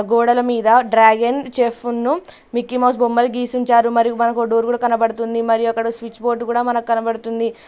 గోడల మీద డ్రాగన్ చెఫ్ఫన్ను మిక్కీమౌస్ బొమ్మలు గీసుంచారు మరి మనకు డోర్ కూడా కనబడుతుంది మరి అక్కడ స్విచ్ బోర్డు కూడా మనకనబడుతుంది.